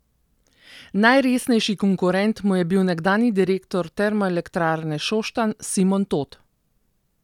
Najresnejši konkurent mu je bil nekdanji direktor Termoelektrarne Šoštanj Simon Tot.